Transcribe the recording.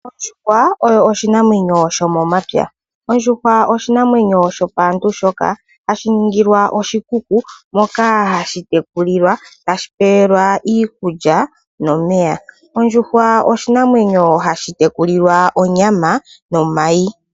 Ondjuhwa oyo oshinamwenyo shomuunamapya. Ondjuhwa oshinamwenyo shopaantu shoka hashi ningilwa oshikuku moka hashi tekulilwa tashi pewelwa iikulya nomeya. Ondjuhwa oshinamwenyo hashi tekulilwa onyama nomayi.